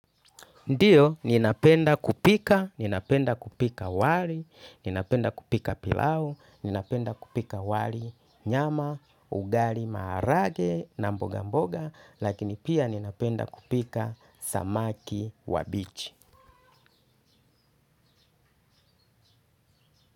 Ndiyo, ninapenda kupika, ninapenda kupika wali, ninapenda kupika pilau, ninapenda kupika wali nyama, ugali, marage, namboga mboga, lakini pia ninapenda kupika samaki wa bichi.